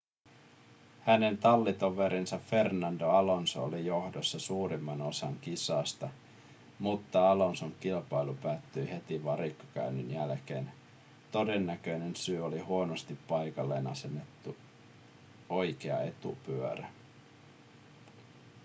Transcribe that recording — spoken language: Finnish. hänen tallitoverinsa fernando alonso oli johdossa suurimman osan kisasta mutta alonson kilpailu päättyi heti varikkokäynnin jälkeen todennäköinen syy oli huonosti paikalleen asennettu oikea etupyörä